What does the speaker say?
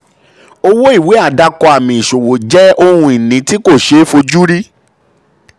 òwò um ìwé àṣẹ àdàkọ àmì ìṣòwò jẹ ohun ìní um tí kò um ṣeé fojú rí.